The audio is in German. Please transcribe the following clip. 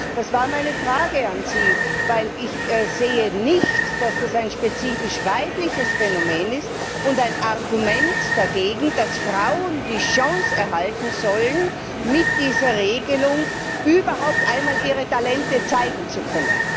Das war meine Frage an sie, denn ich sehe nicht, dass das ein spezifisch weibliches Phänomen und ein Argument dagegen ist, dass Frauen die Chance erhalten sollen, mit dieser Regelung überhaupt einmal ihre Talente zeigen zu können.